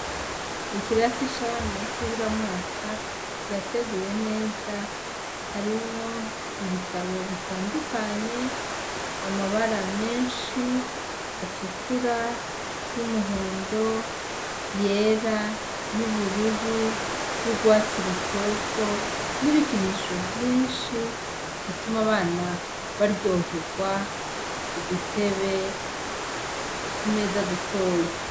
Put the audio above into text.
Ikirasi c'abana bikiburamwaka kirateguye neza, harimwo ibitabo bitandukanye, amabara menshi atukura, y'umuhondo, yera y'ubururu, y'urwatsi rutoto n'ibikinisho vyinshi bituma abana baryoherwa, udutebe, utumeza dutoyi.